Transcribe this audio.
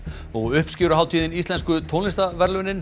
uppskeruhátíðin íslensku tónlistarverðlaunin